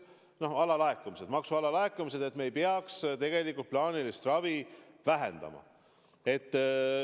On ju maksude alalaekumised ja me ei tohiks tegelikult plaanilist ravi vähendada.